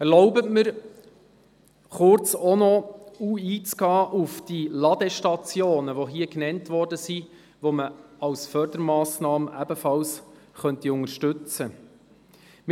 Erlauben Sie mir noch kurz auf die Ladestationen einzugehen, die man als Fördermassnahme ebenfalls unterstützen könnte.